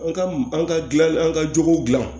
An ka an ka dilan an ka jogow gilan